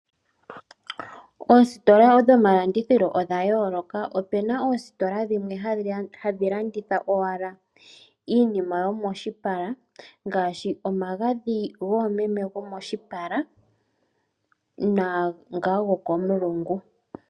Oositola dhomalandithilo odha yooloka. Opuna oositola dhimwe hadhi landitha owala iinima yomoshipala ngaashi omagadhi goomeme gomoshipala naa ngoka gokomulungu.